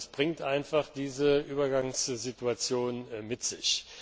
Das bringt einfach diese Übergangssituation mit